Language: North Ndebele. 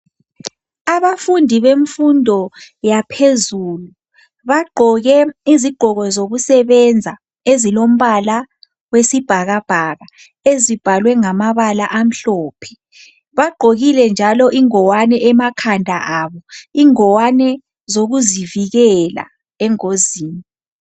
Abafundi bemfundo yaphezulu, bagqoke izigqoko zokusebenza. Ezilombala wesibhakabhaka. Ezibhalwe ngamabala amhlophe. Bagqokile njalo ingwane emakhanda abo. Ingwane zokuzivikela engozini.